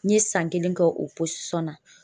N ye san kelen kɛ o na